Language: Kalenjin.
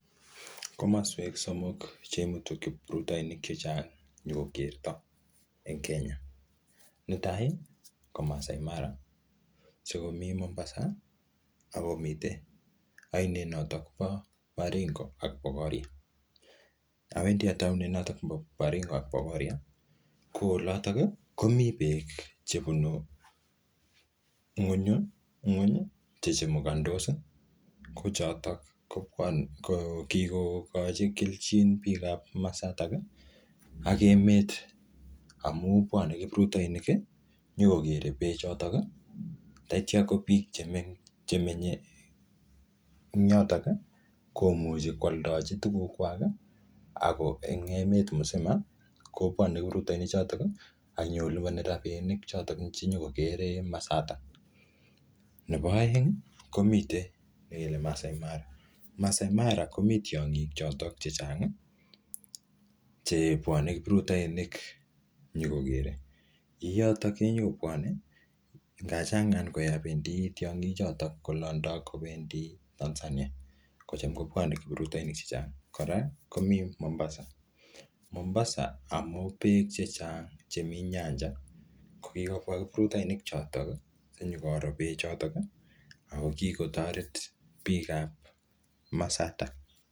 Komoswek somok chemutu kiprutoinik chechang nyokokerto en Kenya netai ko Maasai Mara, sikomii Mombasa ak komii noton oinet nebo Baringo ak Bogoria, awendi ataunen noton nebo Baringo ak Bogoria ko oloton komii beek chebunu ngweny che chumukondos ko choton ko kikokochi kelchin biikab komosotok ak emet amun bwone kiprutoinik nyokokere bechotok ak kityo ko biik chemenye yotok komuche kwoldochi tukukwak en emet misima kobwone kiprutoinichoton ak inyokoliboni rabinik choton chenyokokeren komosoto, nebo oeng komii nekile Maasai Mara, Maasai Mara komii tongik choton chechang chebwone kiprutoinik inyokokere, yotok kenyokobwone yoon changa konyokolondo tiongi choton konyokobendi Tanzania kocham kobwone kiprutoinik chechang, kora komii Mombasa amun beek chechang chemii nyanja ko kikobwa kiprutoini choton sinyokoro bechoton ak ko kikotoret biikab komosoto.